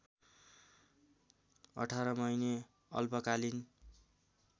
१८ महिने अल्पकालिन